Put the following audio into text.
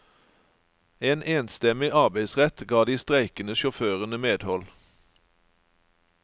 En enstemmig arbeidsrett ga de streikende sjåførene medhold.